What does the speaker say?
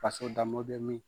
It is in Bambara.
Faso danbo bɛ min?